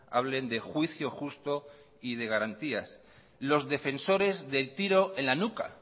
hablen de juicio justo y de garantías los defensores del tiro en la nuca